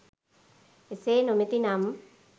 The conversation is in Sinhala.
එසේ නොමැති නම්